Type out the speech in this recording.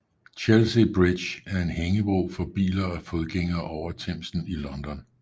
Chelsea Bridge er en hængebro for biler og fodgængere over Themsen i London